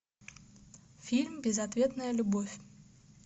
фильм безответная любовь